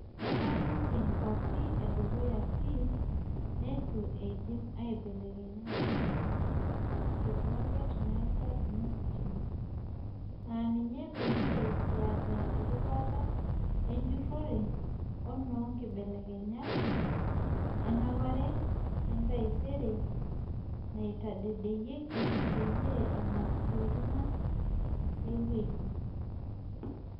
"Ataninje nkuapi edukuya pii neitu eidim aibelekenya ngunenye (metaa nositima), naa ina peyie kiata erubata ejurore o noo nkibelekenyat 'Enapare etaisere' naitadedeyieki peyie enap ntokitin ang ay weji."